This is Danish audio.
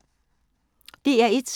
DR1